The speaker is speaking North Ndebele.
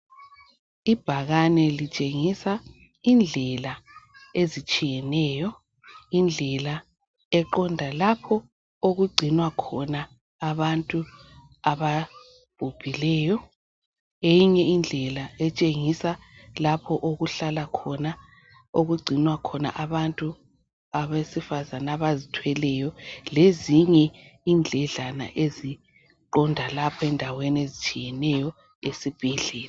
Ibhakane litshengisa indlela ezitshiyeneyo . Indlela eqonda lapho okugcinwa khona abantu ababhubhileyo .Eyinye indlela etshengisa lapho okuhlala khona okugcinwa khona abantu abesifazana abazithweleyo lezinye indledlana eziqonda lapho endaweni ezitshiyeneyo esibhedlela.